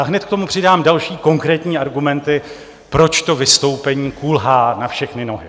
A hned k tomu přidám další konkrétní argumenty, proč to vystoupení kulhá na všechny nohy.